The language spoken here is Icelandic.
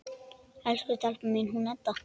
Elsku stelpan mín, hún Edda!